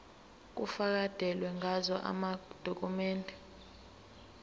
kufakelwe ngazo amadokhumende